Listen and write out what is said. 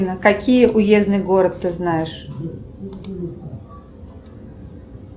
какие уездный город ты знаешь